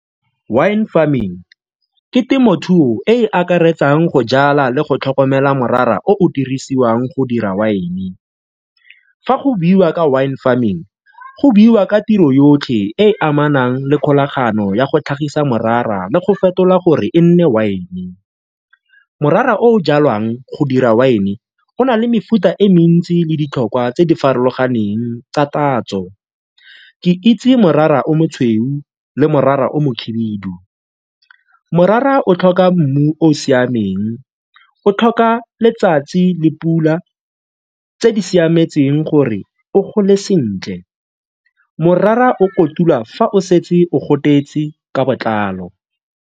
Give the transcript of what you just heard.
Wine farming ke temothuo e e akaretsang go jala le go tlhokomela morara o o dirisiwang go dira wine. Fa go buiwa ka wine farming go buiwa ka tiro yotlhe e e amanang le kgolagano ya go tlhagisa morara le go fetola gore e nne wine. Morara o o jalwang go dira wine go na le mefuta e mentsi le ditlhokwa tse di farologaneng tsa tatso ke itse morara o mosweu le morara o mohibidu. Morara o tlhoka mmu o o siameng o tlhoka letsatsi le pula tse di siametseng gore o gole sentle, morara o kotula fa o setse o gobetse ka botlalo.